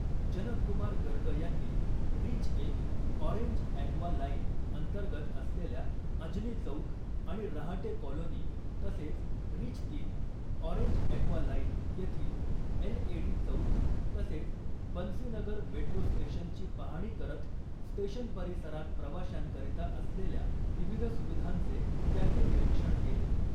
जनक कुमार गर्ग यांनी रिच एक orange aqua line अंतर्गत असलेल्या अजनी चौक आणि रहाटे कॉलोनी तसेच रिच तीन ऑरेंज ॲक्वा लाईन येथील एलएडी चौक तसेच बंसी नगर मेट्रो स्टेशनची पाहणी करत स्टेशन परिसरात प्रवाश्यांकरीता असलेल्या विविध सुविधांचे त्यांनी निरीक्षण केले .